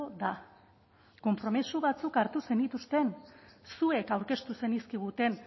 da konpromiso batzuk hartu zenituzten zuek aurkeztu zenizkiguten